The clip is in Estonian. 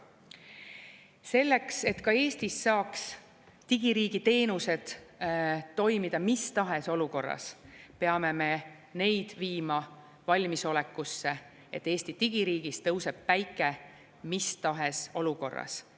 Selleks, et ka Eestis saaks digiriigi teenused toimida mis tahes olukorras, peame me neid viima valmisolekusse, et Eesti digiriigis tõuseb päike mis tahes olukorras.